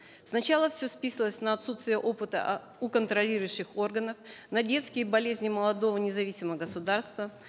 сначала все списывалось на отсутствие опыта у контролирующих органов на детские болезни молодого независимого государства